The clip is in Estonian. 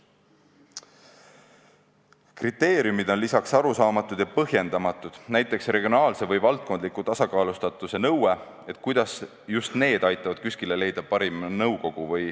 Kriteeriumid on lisaks arusaamatud ja põhjendamatud, näiteks regionaalse või valdkondliku tasakaalustatuse nõue, et kuidas just need aitavad KÜSK-ile leida parima nõukogu.